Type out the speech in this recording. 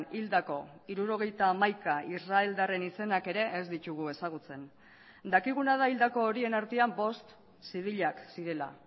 hildako hirurogeita hamaika israeldarren izenak ere ez ditugu ezagutzen dakiguna da hildako horien artean bost zibilak zirela